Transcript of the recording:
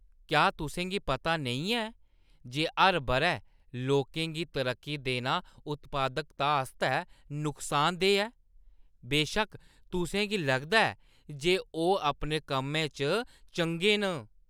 क्या तुसें गी पता नेईं ऐ जे हर बʼरै लोकें गी तरक्की देना उत्पादकता आस्तै नुकसानदेह् ऐ, बेशक्क तुसें गी लगदा ऐ जे ओह् अपने कम्मै च चंगे न?